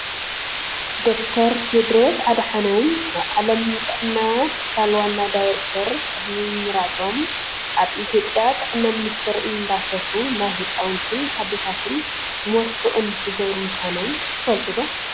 ዶክተር ቴድሮስ ኣድሓኖም ናይ ዓለምና ጥዕና ትካል ዋና ዳይሬክተር ቅድሚ ምምራፆም ኣብ ኢትዮጵያ ጥዕና ሚኒስተር እንዳሰርሑ ናይ ህፃውንትን አዴታትን ሞት ክቅንስ ዝገበሩ ምኳኖም ትፈልጡ ዶ ?